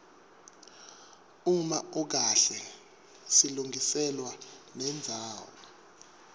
uma ukahle silungiselwa nendzawo